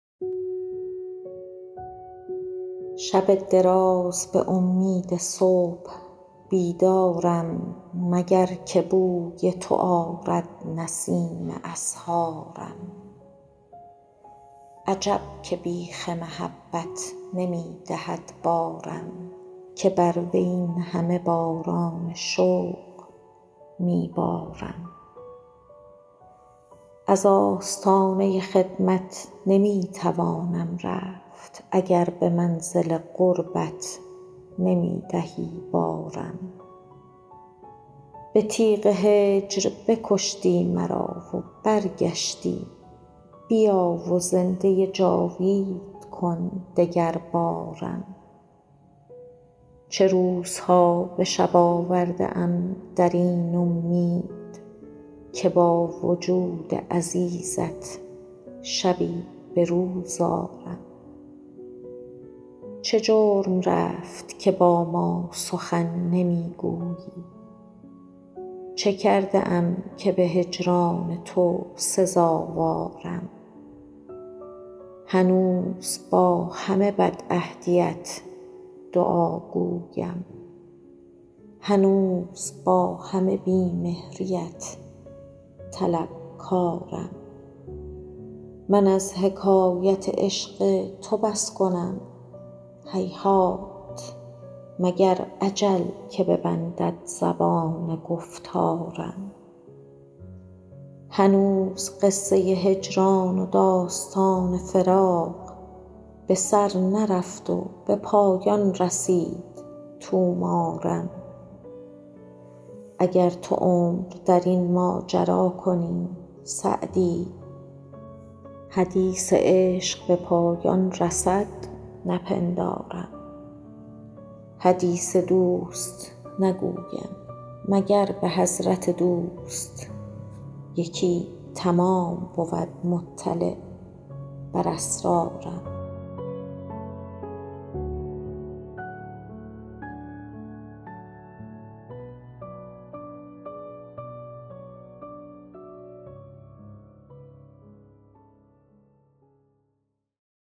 شب دراز به امید صبح بیدارم مگر که بوی تو آرد نسیم اسحارم عجب که بیخ محبت نمی دهد بارم که بر وی این همه باران شوق می بارم از آستانه خدمت نمی توانم رفت اگر به منزل قربت نمی دهی بارم به تیغ هجر بکشتی مرا و برگشتی بیا و زنده جاوید کن دگربارم چه روزها به شب آورده ام در این امید که با وجود عزیزت شبی به روز آرم چه جرم رفت که با ما سخن نمی گویی چه کرده ام که به هجران تو سزاوارم هنوز با همه بدعهدیت دعاگویم هنوز با همه بی مهریت طلبکارم من از حکایت عشق تو بس کنم هیهات مگر اجل که ببندد زبان گفتارم هنوز قصه هجران و داستان فراق به سر نرفت و به پایان رسید طومارم اگر تو عمر در این ماجرا کنی سعدی حدیث عشق به پایان رسد نپندارم حدیث دوست نگویم مگر به حضرت دوست یکی تمام بود مطلع بر اسرارم